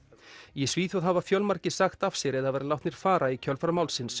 í Svíþjóð hafa fjölmargir sagt af sér eða verið látnir fara í kjölfar málsins